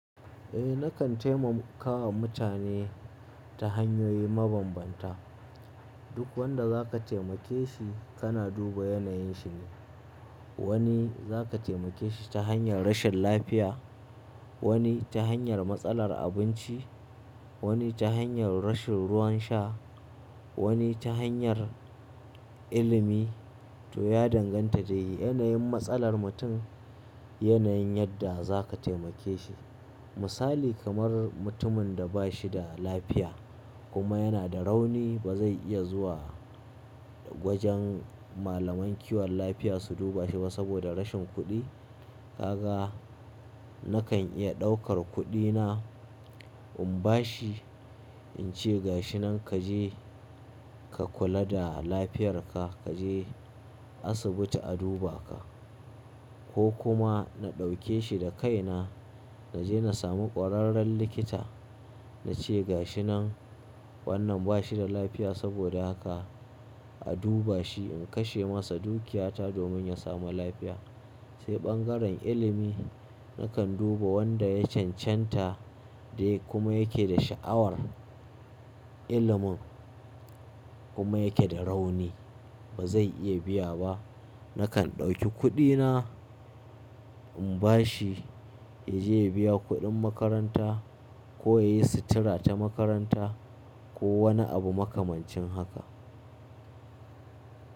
Eh nakan taimakawa mutane ta hanyoyi mabambanta. Duk wanda za ka taimake shi kana duba yanayin shi ne. Wani za ka taimake shi ta hanyar rashin lafiya, wani ta hanyar matsalar abinci, wani ta hanyar rashin ruwan sha, wani ta hanyar ilimi to ya danganta da yanayin matsalar mutum, yanayin yadda za ka taimake shi. Misali kamar mutumin da ba shi da lafiya kuma yana da rauni ba zai iya zuwa wajen malaman kiwon lafiya su duba shi ba saboda rashin kuɗi. Ka ga nakan iya ɗaukar kuɗi na in ba shi in ce ga shi nan ka je ka kula da lafiyar ka, ka je asibiti a duba ka ko kuma na ɗauke shi da kai na na je na samu ƙwararren likita na ce ga shi nan wannan ba shi da lafiya saboda haka a duba shi in kashe masa dukiyata domin ya samu lafiya. Sai ɓangaren ilimi nakan duba wanda ya cancanta dai kuma yake da sha'awar ilimin kuma yake da rauni ba zai iya biya ba. Nakan ɗauki kuɗi na in ba shi ya je ya biya kuɗin makaranta ko ya yi sutura ta makaranta ko wani abu makamancin haka.